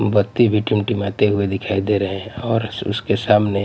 बत्ती भी टिमटिमाते हुए दिखाई दे रहे हैं और उसके सामने--